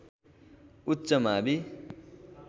उच्च मावि